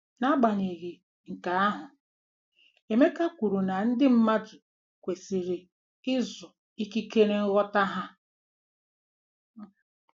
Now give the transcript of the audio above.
N'agbanyeghị nke ahụ, Emeka kwuru na ndị mmadụ kwesịrị ịzụ ikike nghọta ha